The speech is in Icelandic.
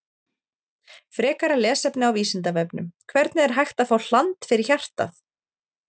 Frekara lesefni á Vísindavefnum: Hvernig er hægt að fá hland fyrir hjartað?